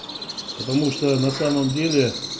потому что на самом деле